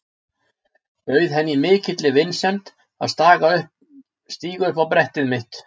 Bauð henni í mikilli vinsemd að stíga upp á brettið mitt.